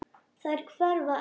Þær hverfa ekki.